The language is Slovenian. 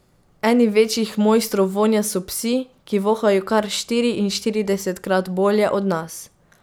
Eni večjih mojstrov vonja so psi, ki vohajo kar štiriinštiridesetkrat bolje od nas.